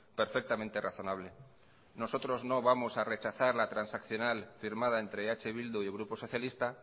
perfectamente razonable nosotros no vamos a rechazar la transaccional firmada entre eh bildu y el grupo socialista